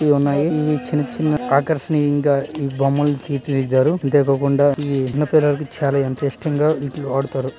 ఇవి ఉన్నాయి ఇవి చిన్న చిన్న ఆకర్షణీయంగా ని ఈ బొమ్మలని తీర్చి దిద్దారు అంతే కాకుండా ఇవి చిన్న పిల్లలకి చాలా ఎంత ఇష్టంగా వీటిని వాడుతారు.